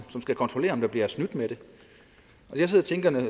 som skal kontrollere om der bliver snydt med det